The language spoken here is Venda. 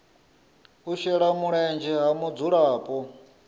u shela mulenzhe ha mudzulapo